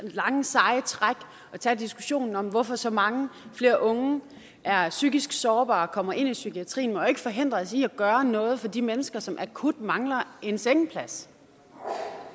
lange seje træk og tage diskussionen om hvorfor så mange flere unge er psykisk sårbare og kommer ind i psykiatrien må jo ikke forhindre os i at gøre noget for de mennesker som akut mangler en sengeplads